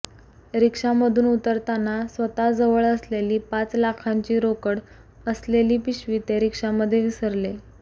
रिक्षामधून उतरताना स्वतःजवळ असलेली पाच लाखांची रोकड असलेली पिशवी ते रिक्षामध्ये विसरले